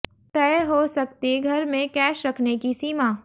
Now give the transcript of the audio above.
तय हो सकती घर में कैश रखने की सीमा